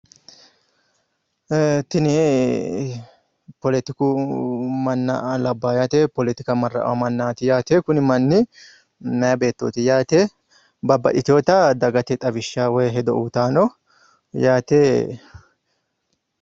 ee tini poletuku manna labbaa yaate plrtika marra''a mannaati yaate kuni manni meya beettooti yaate babbaxitewoota dagate xawishsha woyi hedo uyiitayino yaate